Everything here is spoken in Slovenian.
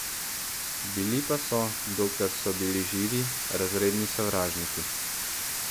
Bili pa so, dokler so bili živi, razredni sovražniki.